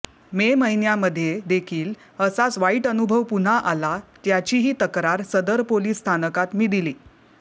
मे महिन्यामध्ये देखील असाच वाईट अनुभव पुन्हा आला त्याचीही तक्रार सदर पोलीस स्थानकात मी दि